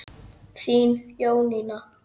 Þín Jónína.